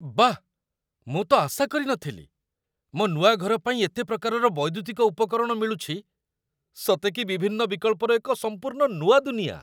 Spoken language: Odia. ବାଃ, ମୁଁ ତ ଆଶା କରି ନଥିଲି, ମୋ ନୂଆ ଘର ପାଇଁ ଏତେ ପ୍ରକାରର ବୈଦ୍ୟୁତିକ ଉପକରଣ ମିଳୁଛି ସତେ କି ବିଭିନ୍ନ ବିକଳ୍ପର ଏକ ସମ୍ପୂର୍ଣ୍ଣ ନୂଆ ଦୁନିଆ!